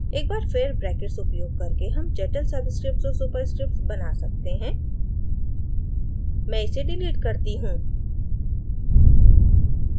एक बार फिर ब्रैकेट्स उपयोग करके हम जटिल subscripts और superscripts बना सकते हैं मैं इसे डिलीट करती हूँ